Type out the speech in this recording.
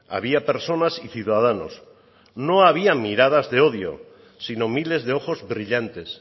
había personas y ciudadanos no había miradas de odio sino miles de ojos brillantes